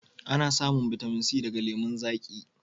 Ana samun bitamin C daga lemun zaƙi